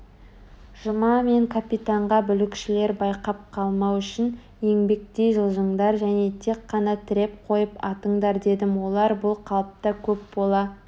жұма мен капитанға бүлікшілер байқап қалмау үшін еңбектей жылжыңдар және тек қана тіреп қойып атыңдар дедім олар бұл қалыпта көп бола